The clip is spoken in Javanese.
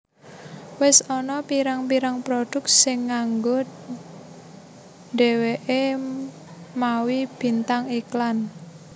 Wis ana pirang pirang produk sing nganggo dheweke mawi bintang iklan